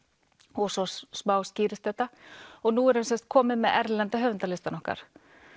og svo smá skýrist þetta nú erum við komin með erlenda höfundalistann okkar